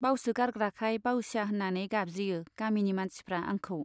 बावसोगारग्राखाय बाउसिया होन्नानै गाबज्रियो गामिनि मानसिफ्रा आंखौ।